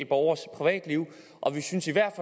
borgers privatliv og vi synes i hvert